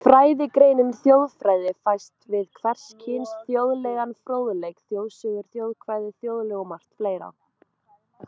Fræðigreinin þjóðfræði fæst við hvers kyns þjóðlegan fróðleik, þjóðsögur, þjóðkvæði, þjóðlög og margt fleira.